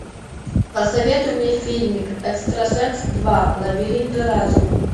посоветуй мне фильмик экстрасенс два лабиринты разума